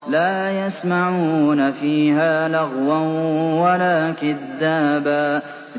لَّا يَسْمَعُونَ فِيهَا لَغْوًا وَلَا كِذَّابًا